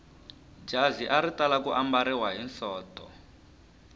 jazi ri tala ku ambariwa hi sonto